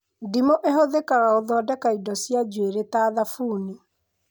Ndimũ ĩhũthĩkaga gũthondeka indo cia njuĩrĩ ta thabuni